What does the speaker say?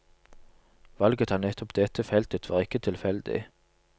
Valget av nettopp dette feltet var ikke tilfeldig.